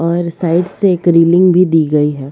और साइड से एक रीलिंग भी दी गई है।